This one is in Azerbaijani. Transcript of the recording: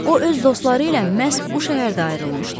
O öz dostları ilə məhz bu şəhərdə ayrılmışdı.